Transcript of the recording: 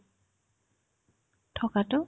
থকাতো